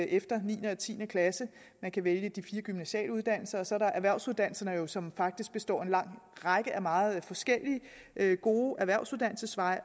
efter niende og tiende klasse man kan vælge de fire gymnasiale uddannelser og så er der erhvervsuddannelserne som faktisk består af en lang række meget forskellige gode erhvervsuddannelsesveje